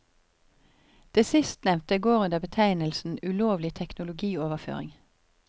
Det sistnevnte går under betegnelsen ulovlig teknologioverføring.